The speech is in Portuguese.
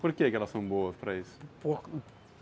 Por que que elas são boas para isso?